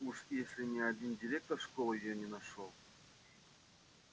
уж если ни один директор школы её не нашёл